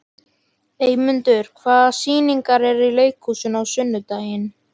Eymundur, hvaða sýningar eru í leikhúsinu á sunnudaginn?